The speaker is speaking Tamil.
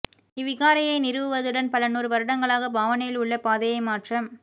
இவ்விகாரையை நிறுவுவதுடன் பல நூறு வருடங்களாக பாவனையில் உள்ள பாதையை மாற்ற